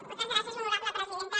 moltes gràcies honorable presidenta